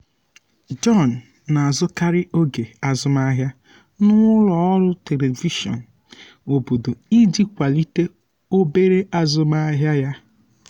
john na-azụkarị oge azụmahịa na ụlọ ọrụ telivishọn obodo iji kwalite obere azụmahịa ya.